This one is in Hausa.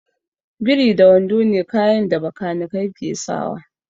Biri da wando ne kayan da bakanikai ke sawa